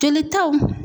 Jolitaw